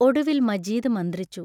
ഒടുവിൽ മജീദ് മന്ത്രിച്ചു.